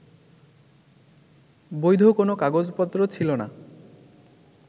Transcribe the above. বৈধ কোন কাগজপত্র ছিল না